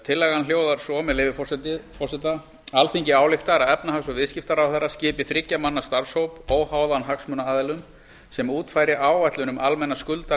tillagan hljóðar svo með leyfi forseta alþingi ályktar að efnahags og viðskiptaráðherra skipi þriggja manna starfshóp óháðan hagsmunaaðilum sem útfæri áætlun